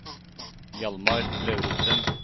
Hjalmar Lauritzen